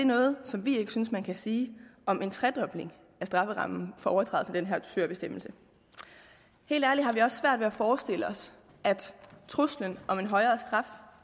noget som vi synes at man kan sige om en tredobling af strafferammen for overtrædelse af den her dusørbestemmelse helt ærligt har vi også svært at forestille os at truslen om en højere straf